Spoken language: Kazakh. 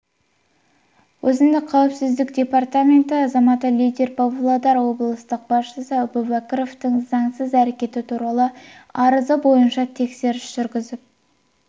өзіндік қауіпсіздік департаменті азаматы лидің павлодар облыстық басшысы әубәкіровтің заңсыз әрекеті туралы арызы бойынша тексеріс жүргізіп